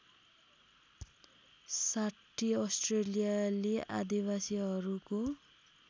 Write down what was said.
६० अस्ट्रेलियाली आदिवासीहरूको